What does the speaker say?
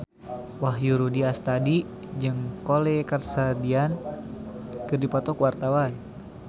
Wahyu Rudi Astadi jeung Khloe Kardashian keur dipoto ku wartawan